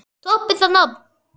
Toppið það nafn!